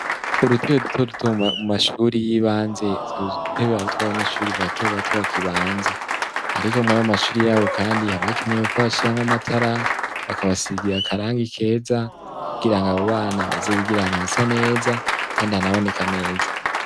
Udutebe duto duto mu mashuri y'ibanze utwo tudutebe harutw, abanyeshuri bato bato bakibanza. Ariko mwayo mashuri yabo kandi haba hakenewe ko bashiramw’amatara, bakabasigira akarangi keza kugirang’abo bana baze bigir’ahantu hasa neza kandi hanaboneka neza.